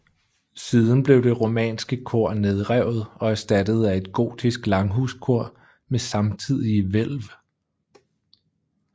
Siden blev det romanske kor nedrevet og erstattet af et gotisk langhuskor med samtidige hvælv